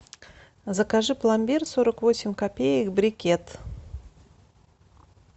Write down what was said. закажи пломбир сорок восемь копеек брикет